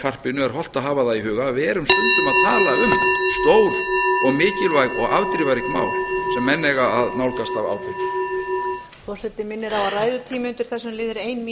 karpinu er hollt að hafa það í huga að við erum stundum að tala um stór og mikilvæg og afdrifarík mál sem menn eiga að nálgast af ábyrgð